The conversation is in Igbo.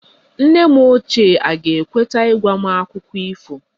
Nne m ochie aga-ekweta ịgwa m Akụkọ ifo?